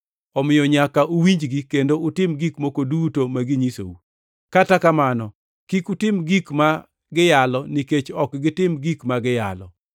Omiyo nyaka uwinjgi kendo utim gik moko duto ma ginyisou. Kata kamano kik utim gik ma giyalo nikech ok gitim gik ma giyalo.